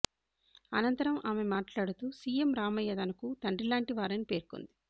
అనంతరం ఆమె మాట్లాడుతూ సిఎం రామయ్య తనకు తండ్రిలాంటి వారని పేర్కొంది